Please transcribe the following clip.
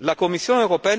La Commission